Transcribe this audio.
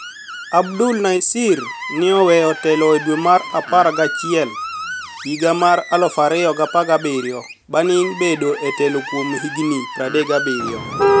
Abdul niasir ni e oweyo telo e dwe mar apar gachiel higa mar 2017 banig' bedo e telo kuom hignii 37.